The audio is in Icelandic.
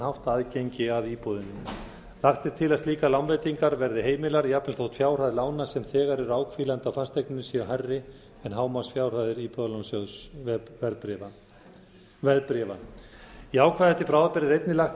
hátt aðgengi að íbúðinni lagt er til að slíkar lánveitingar verði heimilar jafnvel þó fjárhæð lána sem þegar eru áhvílandi á fasteigninni séu hærri en hámarksfjárhæðir íbúðalánasjóðsveðbréfa í ákvæði til bráðabirgða er einnig lagt